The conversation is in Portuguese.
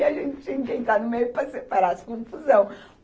E a gente tinha que entrar no meio para separar as confusão